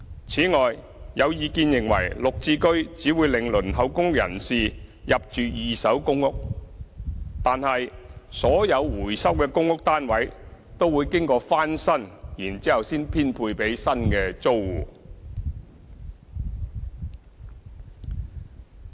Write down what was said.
此外，有意見認為"綠置居"只會令輪候公屋人士入住二手公屋，但所有回收的公屋單位都會經過翻新，然後才編配給新的租戶。